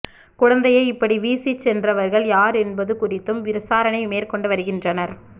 குழந்தையை இப்படி வீசிச் சென்றவர்கள் யார் என்பது குறித்தும் விசாரணை மேற்கொண்டு வருகின்றனர்